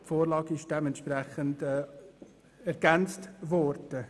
Die Vorlage ist entsprechend ergänzt worden.